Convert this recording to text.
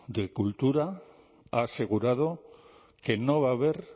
de cultura ha asegurado que no va a haber